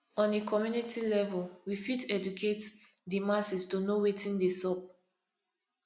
on a community level we fit educate di masses to fit know wetin dey sup